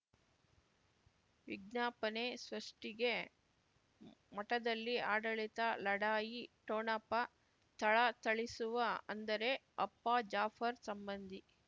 ವಿಜ್ಞಾಪನೆ ಸೃಷ್ಟಿಗೆ ಮಠದಲ್ಲಿ ಆಡಳಿತ ಲಢಾಯಿ ಠೊಣಪ ಥಳಥಳಿಸುವ ಅಂದರೆ ಅಪ್ಪ ಜಾಫರ್ ಸಂಬಂಧಿ